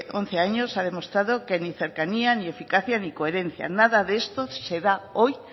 once años ha demostrado que ni cercanía ni eficacia ni coherencia nada de esto se da hoy